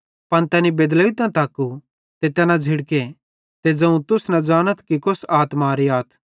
पन तैनी बेदलोइतां तक्कू ते तैना झ़िड़के ते ज़ोवं तुस न ज़ानथ कि तुस कौस आत्मारे आथ